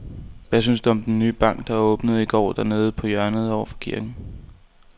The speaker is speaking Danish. Hvad synes du om den nye bank, der åbnede i går dernede på hjørnet over for kirken?